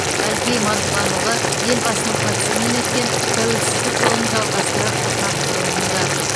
әлкей марғұланұлы елбасының қатысуымен өткен тәуелсіздік жолын жалғастырар ұрпақ форумында